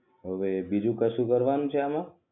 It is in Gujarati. હવે બીજુ કશું કરવાનું છે આમાં